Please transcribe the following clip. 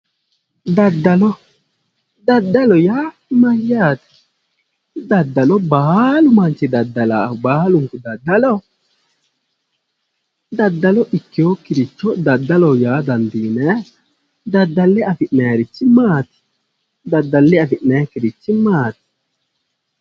daddalo daddalo yaa mayyaate? baalu manchi daddalaahu baalunku daddaloho? daddalo ikkinokkiricho daddaloho yaa dandiinannni? daddalle afi'nannirichi maati? daddalle afi'nannikkirichi maati?